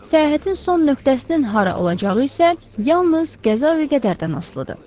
Səyahətin son nöqtəsinin hara olacağı isə yalnız qəza və qədərdən asılıdır.